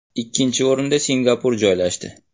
Ikkinchi o‘rinda Singapur joylashdi.